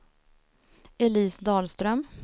Elise Dahlström